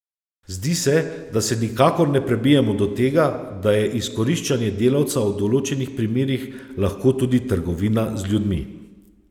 Zdi se, da se nikakor ne prebijemo do tega, da je izkoriščanje delavca v določenih primerih lahko tudi trgovina z ljudmi.